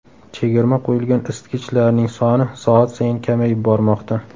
Chegirma qo‘yilgan isitgichlarning soni soat sayin kamayib bormoqda!